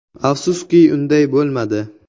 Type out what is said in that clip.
Afsuski unday bo‘lmadi.